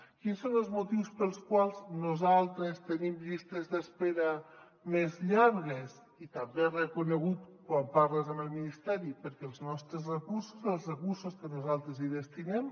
quins són els motius pels quals nosaltres tenim llistes d’espera més llargues i és també reconegut quan parles amb el ministeri perquè els nostres recursos els recursos que nosaltres hi destinem